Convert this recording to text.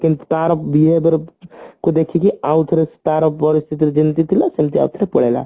କେମତି ତାର ଦର କୁ ଦେଖିକି ଆଉ ଥରେ ତାର ପରିସ୍ଥିତି କି ଯେମତି ଥିଲା ସେମତି ଆଉ ଥରେ ପଳେଇଲା